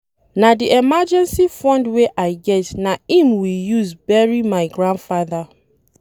Na the emergency fund wey I get na im we use bury my grandfather